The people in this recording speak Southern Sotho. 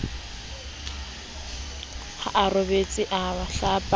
ha raboditse a sa hlapa